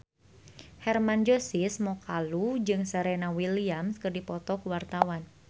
Hermann Josis Mokalu jeung Serena Williams keur dipoto ku wartawan